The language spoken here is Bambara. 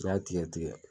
N'i y'a tigɛ tigɛ